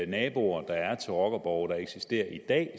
naboer der er til rockerborge der eksisterer i dag